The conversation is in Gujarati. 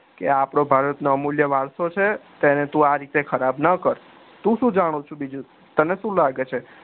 કે અપડા ભારતીય નો અમુલ્ય વરસો છે તેને તું આ રીતે ખરાબ ના કર તું શું જાણે છે બીજું તને શું લાગે છે